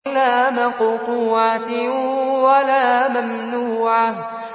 لَّا مَقْطُوعَةٍ وَلَا مَمْنُوعَةٍ